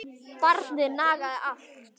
Barnið nagaði allt.